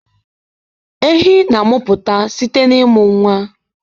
Ehi na-amụpụta site na ịmụ nwa